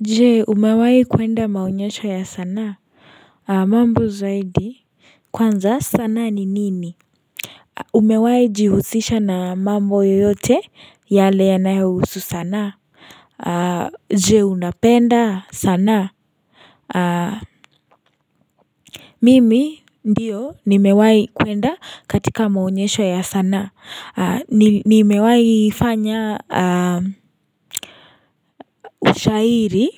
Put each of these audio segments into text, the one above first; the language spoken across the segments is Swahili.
Je umewai kwenda maonyesho ya sanaa mambo zaidi Kwanza sana ni nini Umewahi jihusisha na mambo yoyote yale yanayohusu sanaa Je unapenda sana Mimi ndiyo nimewahi kwenda katika maonyesho ya sanaa Nimewahifanya ushairi,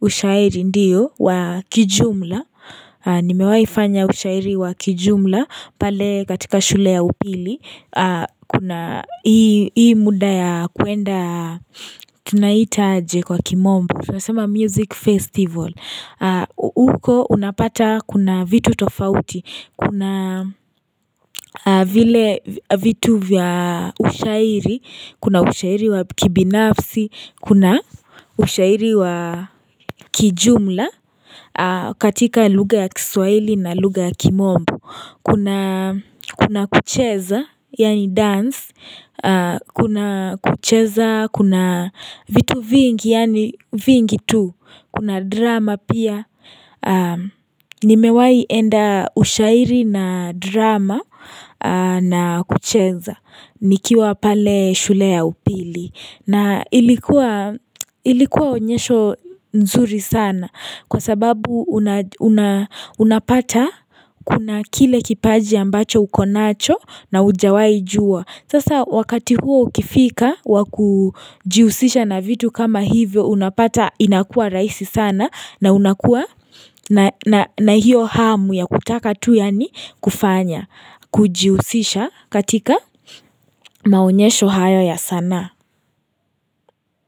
ushairi ndiyo, wakijumla Nimewahifanya ushairi wakijumla pale katika shule ya upili Kuna hii muda ya kuenda Tunaitaje kwa kimombo tunasema music festival huko unapata kuna vitu tofauti Kuna vile vitu vya ushairi Kuna ushairi wa kibinafsi Kuna ushairi wa kijumla katika lugha ya kiswaili na lugha ya kimombo Kuna kucheza, yaani dance Kuna kucheza, kuna vitu vingi, yaani vingi tu Kuna drama pia Nimewahi enda ushairi na drama na kucheza nikiwa pale shule ya upili na ilikuwa onyesho nzuri sana Kwa sababu unapata kuna kile kipaji ambacho uko nacho na hujawahi jua Sasa wakati huo ukifika wakujihusisha na vitu kama hivyo unapata inakua rahisi sana na unakua na hiyo hamu ya kutaka tu yaani kufanya kujihusisha katika maonyesho hayo ya sanaa.